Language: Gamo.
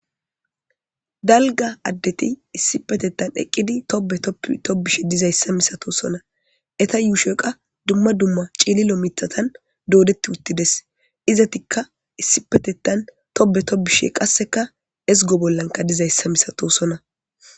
dalga addeti issi petettan eqqidi tobe otobishe dizayssa misato sona eta yuusheqa dumma dumma ciililo mitatan doodetti uttides izatikka issi petettan tobe tobishe qasseka ezgo bollanka dizayssa misato sona